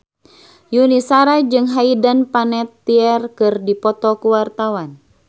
Yuni Shara jeung Hayden Panettiere keur dipoto ku wartawan